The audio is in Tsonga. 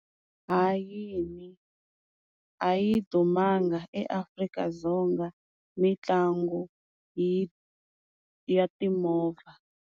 Hayini, a yi dumanga eAfrika-Dzonga mitlangu yi ya timovha.